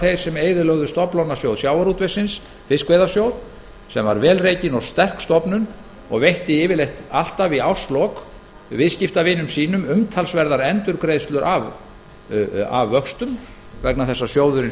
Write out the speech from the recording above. þeir sem eyðilögðu stofnlánasjóð sjávarútvegsins fiskveiðasjóð sem var vel rekin og sterk stofnun og veitti yfirleitt alltaf í árslok viðskiptavinum sínum umtalsverðar endurgreiðslur af vöxtum vegna þess að sjóðurinn